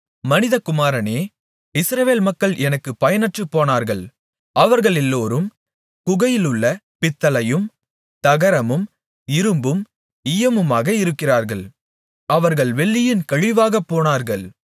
மனிதகுமாரனே இஸ்ரவேல் மக்கள் எனக்கு பயனற்று போனார்கள் அவர்களெல்லோரும் குகையிலுள்ள பித்தளையும் தகரமும் இரும்பும் ஈயமுமாக இருக்கிறார்கள் அவர்கள் வெள்ளியின் கழிவாகப் போனார்கள்